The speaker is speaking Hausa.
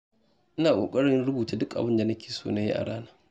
Ina ƙoƙarin rubuta duk abin da nake so na yi a rana.